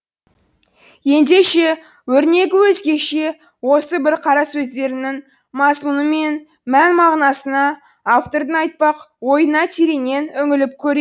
ендеше өрнегі өзгеше осы бір қарасөздерінің мазмұны мен мән мағынасына автордың айтпақ ойына тереңнен үңіліп көре